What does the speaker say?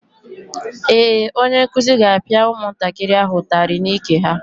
Ee, onye nkuzi ga-apịa ụmụntakịrị ahụ ụtarị n'ike ha.